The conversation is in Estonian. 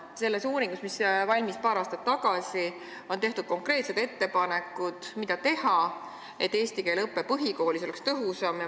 See uurimus valmis paar aastat tagasi ja selles on tehtud konkreetsed ettepanekud, mida teha, et eesti keele õpe põhikoolis oleks tõhusam.